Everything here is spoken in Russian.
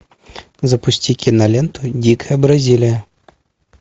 запусти киноленту дикая бразилия